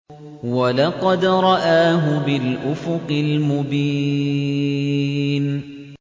وَلَقَدْ رَآهُ بِالْأُفُقِ الْمُبِينِ